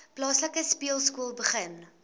plaaslike speelskool begin